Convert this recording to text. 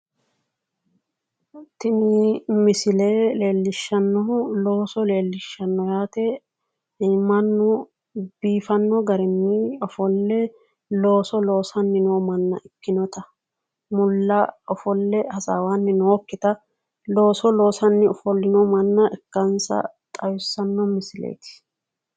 Tini misile leellishannohu looso leellishanno yaate mannu biifinno garinni ofolle looso loosanni noo manna ikkinota mulla ofolle hasaawanni nookkita looso loosaanni ofollino manna ikkansa xawissanno misileeti.